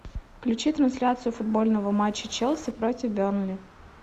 включи трансляцию футбольного матча челси против бернли